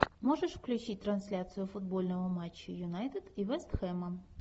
можешь включить трансляцию футбольного матча юнайтед и вестхэма